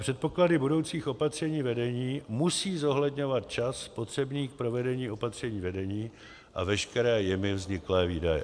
Předpoklady budoucích opatření vedení musí zohledňovat čas potřebný k provedení opatření vedení a veškeré jimi vzniklé výdaje.